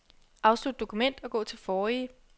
Afslut dokument og gå til forrige.